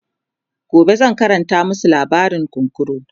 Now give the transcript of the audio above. gobe zan Karanta masu labarin kunkuru